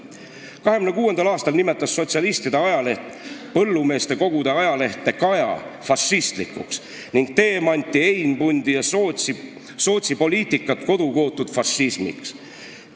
"1926. aastal nimetas sotsialistide ajaleht Põllumeestekogude ajalehte Kaja fašistlikuks ning Teemanti, Einbundi ja Sootsi poliitikat kodukootud fašismiks.